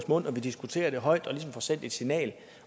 munden og diskuterer det og ligesom får sendt et signal